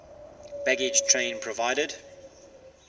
baggage train provided